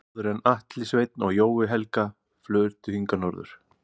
Áður höfðu Atli Sveinn og Jói Helga flutt hingað norður.